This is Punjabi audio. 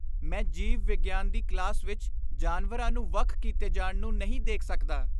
ਮੈਂ ਜੀਵ ਵਿਗਿਆਨ ਦੀ ਕਲਾਸ ਵਿੱਚ ਜਾਨਵਰਾਂ ਨੂੰ ਵੱਖ ਕੀਤੇ ਜਾਣ ਨੂੰ ਨਹੀਂ ਦੇਖ ਸਕਦਾ।